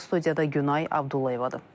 Studiyada Günay Abdullayevadır.